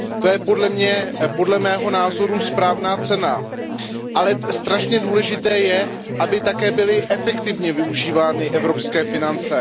To je podle mého názoru správná cesta, ale strašně důležité je, aby také byly efektivně využívány evropské finance.